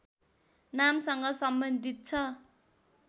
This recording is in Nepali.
नामसँग सम्बन्धित छ